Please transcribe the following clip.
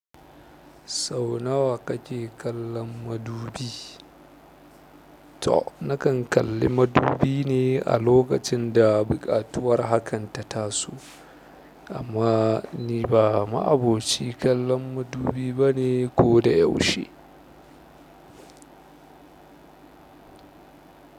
Sau nawa kake kallon madubi? To nakan kalli madubi ne a lokacin da buƙatuwar hakan ta taso, amma ni ba ma'aboci kallon madubi bane ko da yaushe.